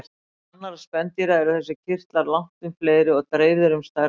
Meðal annarra spendýra eru þessir kirtlar langtum fleiri og dreifðir um stærra svæði.